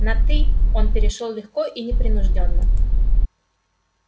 на ты он перешёл легко и непринуждённо